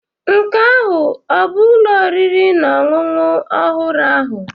Nke ahụ ọ bụ ụlọ oriri na ọṅụṅụ ọhụrụ ahụ?